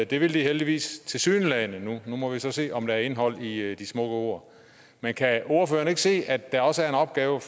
det vil de heldigvis tilsyneladende nu nu må vi så se om der er indhold i de smukke ord men kan ordføreren ikke se at der også er en opgave